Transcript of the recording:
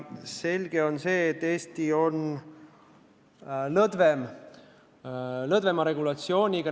Selge aga on, et Eestis on lõdvem regulatsioon.